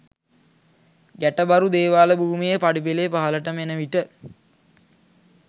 ගැටබරු දේවාල භූමියේ පඩිපෙළේ පහළටම එන විට